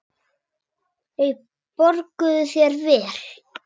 Þeir borguðu þér vel.